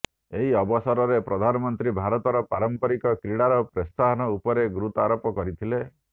ଏହି ଅବସରରେ ପ୍ରଧାନମନ୍ତ୍ରୀ ଭାରତର ପାରମ୍ପରିକ କ୍ରୀଡାର ପ୍ରୋତ୍ସାହନ ଉପରେ ଗୁରୁତ୍ୱାରୋପ କରିଥିଲେ